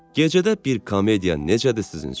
Gecədə bir komediya necədir sizin üçün?